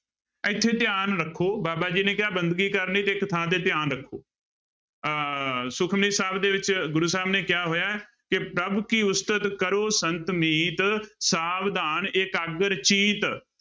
ਇੱਥੇ ਧਿਆਨ ਰੱਖੋ ਬਾਬਾ ਜੀ ਨੇ ਕਿਹਾ ਬੰਦਗੀ ਕਰਨੀ ਤੇ ਇੱਕ ਥਾਂ ਤੇ ਧਿਆਨ ਰੱਖੋ ਅਹ ਸੁਖਮਣੀ ਸਾਹਿਬ ਦੇ ਵਿੱਚ ਗੁਰੂ ਸਾਹਿਬ ਨੇ ਕਿਹਾ ਹੋਇਆ ਹੈ ਕਿ ਪ੍ਰਭ ਕੀ ਉਸਤਤ ਕਰੋ ਸੰਤ ਮੀਤ, ਸਾਵਧਾਨ ਏਕਾਗਰ ਚੀਤ।